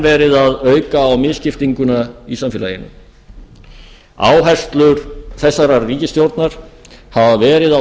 verið að auka á misskiptinguna í samfélaginu áherslur þessarar ríkisstjórnar hafa verið á